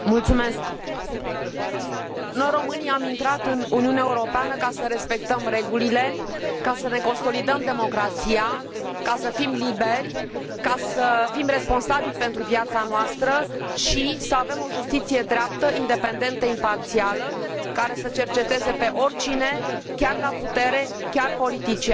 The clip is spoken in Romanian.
Noi, românii, am intrat în Uniunea Europeană ca să respectăm regulile, ca să ne consolidăm democrația, ca să fim liberi, ca să fim responsabili pentru viața noastră și să avem o justiție dreaptă, independentă, imparțială, care să cerceteze pe oricine, chiar la putere, chiar politician, ceea ce nu s a întâmplat înainte.